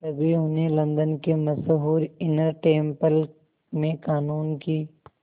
तभी उन्हें लंदन के मशहूर इनर टेम्पल में क़ानून की